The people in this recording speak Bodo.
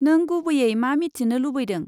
नों गुबैयै मा मिथिनो लुबैदों?